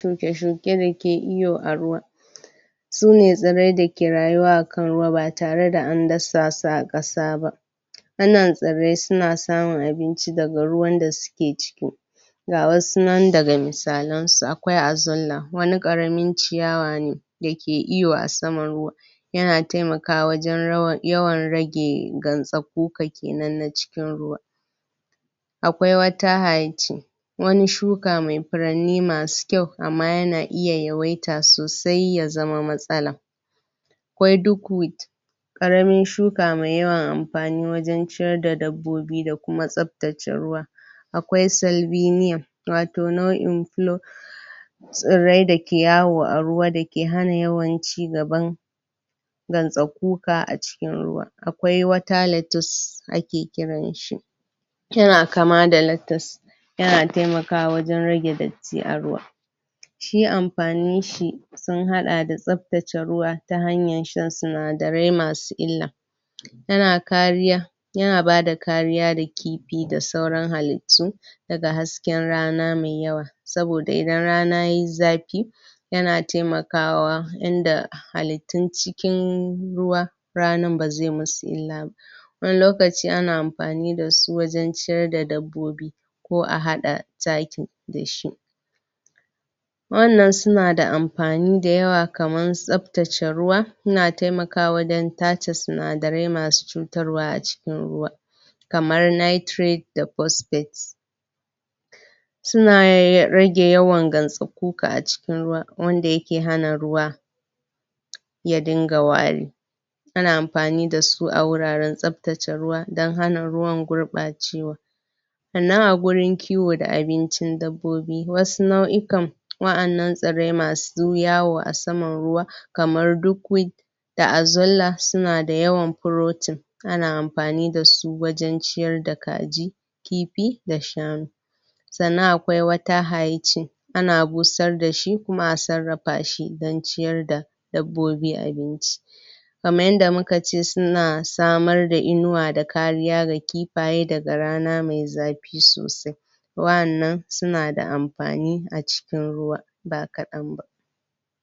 shuke shuke dake iyo a ruwa sune irrai dake rayuwa akan ruwa ba tare da an dasa su akan kasa ba wannan irrai suna samun abinci daga ruwan da suke ciki ga wasu nan daga misalan su akwai azanla wani karamin ciyawa ne dake iyo a saman ruwa yana taimakawa wajen rage gansakuka kenan na cikin ruwa akwai water hych wani shuka mai furanni masu kyau amma yana iya yawaita sosai ya zama matsala? karamin shuka mai yawan amfani wajen ciyar da dabbobi da kuma tsabtace ruwa akwai celbinium wato nau'in pilo tsirrai dake yawo a ruwa dake hana yawan cigaban gansakuka a cikin ruwa akwai water letis ake kiran shi yana kama da latas yana taimakawa wajen rage datti a ruwa shi amfanin shi sun hada da tsabtace ruwa ta hanyar shan sinadarai masu illa yana kariya yana bada kariya ga kifi da sauran halittu daga hasken rana tsananin yawa saboda idan rana yaji zafi yana taimakawa inda halittun cikin ruwa rana bazai masu illa ba wani lokaci ana amfani da su wajen ciyar da dabbobi ko a hada taki dashi wannan suna da amfani da yawa kamar tsabtace ruwa suna taimakwa wajen tace sinadarai masu cutarwa a cikin ruwa kamar nitrate da posphate suna rage yawan gansakuka a cikin ruwa wanda yake hana ruwa ya dinga wari ana amfani da su a wuraren tsabtace ruwa don hana ruwan gurbacewa sannan a gurin kiwo da abincin dabbobi wasu nau'ikan wadannan irrai masu yawo a saman ruwa kamar durkwin da azalla suna da yawa protein ana amfani da su wajen ciyar da kaji kifi da shanu sannan akwai wata hych ana busar dashi kuma a sarrafa don ciyar da dabbobi abinci kamar yarda mukace suna samar da innuwa da kariya ga kifaye daga rana mai zafi sosai wadannan suna da amfani a cikin ruwa ba kadan ba